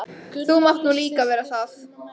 Þú mátt nú líka vera það.